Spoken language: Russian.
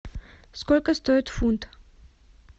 сколько стоит фунт